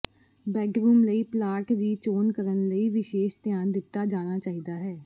bedroom ਲਈ plot ਦੀ ਚੋਣ ਕਰਨ ਲਈ ਵਿਸ਼ੇਸ਼ ਧਿਆਨ ਦਿੱਤਾ ਜਾਣਾ ਚਾਹੀਦਾ ਹੈ